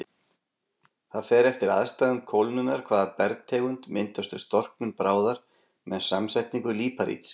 Það fer eftir aðstæðum kólnunar hvaða bergtegund myndast við storknun bráðar með samsetningu líparíts.